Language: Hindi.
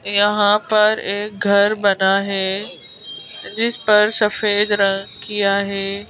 यहां पर एक घर बना है जिस पर सफेद रंग किया है।